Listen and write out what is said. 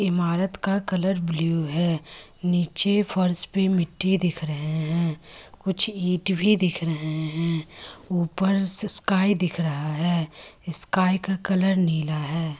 इमारत का colour blue है नीचे फ़र्श पे मिट्टी दिख रहे है कुछ ईंट भी दिख रहे हैं ऊपर स्काई दिख रहा है स्काई का कलर नीला है।